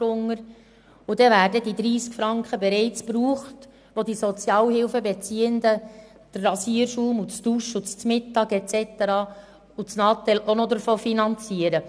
Dann sind diese 30 Franken bereits aufgebraucht, von denen die Sozialhilfebeziehenden neben dem Mittagessen auch noch den Rasierschaum, das Duschmittel, das Natel und so weiter finanzieren.